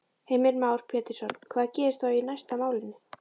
Heimir Már Pétursson: Hvað gerist þá næst í málinu?